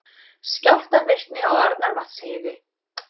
Skjálftavirkni á Arnarvatnsheiði